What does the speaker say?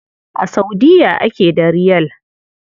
A Saudiya ake da Riyal.